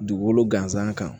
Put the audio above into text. Dugukolo gansan kan